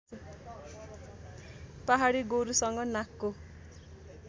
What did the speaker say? पहाडी गोरुसँग नाकको